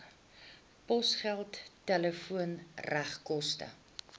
posgeld telefoon regskoste